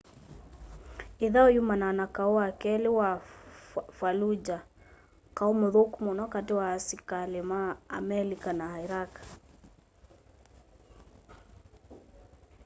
ĩthaũ yumanaa na kaũ wa kelĩ wa fallujah kaũ mũthũku mũno katĩ wa asikalĩ ma amelika na iraq